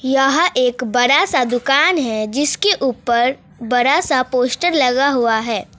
यह एक बड़ा सा दुकान है जिसके ऊपर बड़ा सा पोस्टर लगा हुआ है।